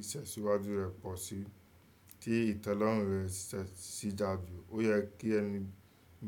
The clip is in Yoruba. ìtẹ̀siwájù rẹ̀ pọ̀ síi, tí ìtẹ́lọ́rùn rẹ̀ ṣí dáa jù, ó yẹ kí ẹni